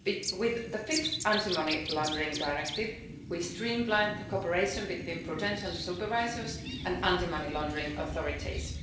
With the fifth Anti-Money Laundering Directive, we streamlined the cooperation between prudential supervisors and anti-money laundering authorities.